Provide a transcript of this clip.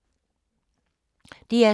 DR2